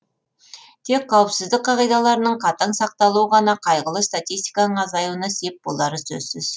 тек қауіпсіздік қағидаларының қатаң сақталуы ғана қайғылы статистиканың азаюына сеп болары сөзсіз